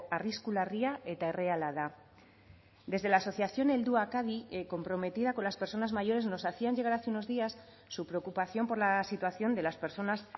arrisku larria eta erreala da desde la asociación helduak adi comprometida con las personas mayores nos hacían llegar hace unos días su preocupación por la situación de las personas